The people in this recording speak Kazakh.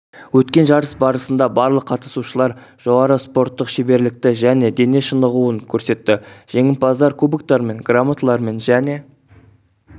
өткен жарыс барысында барлық қатысушылар жоғары спорттық шеберлікті және дене шынығуын көрсетті жеңімпаздар кубоктармен грамоталармен және